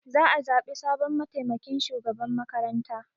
Za a zaɓi sabon mataimakin shugaban makaranta.